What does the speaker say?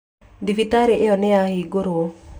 Thibitarĩ ĩyo nĩ yahingirũo